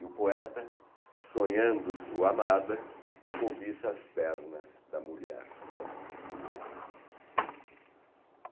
E o poeta, sonhando sua amada, cobiça as pernas da mulher de Omar.